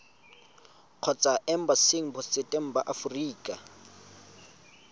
kgotsa embasing botseteng ba aforika